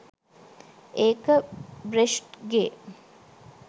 ඒක බ්‍රෙෂ්ට්ගේ .